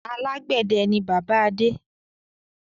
Alàgbẹ̀dẹ ni bàbá Adé.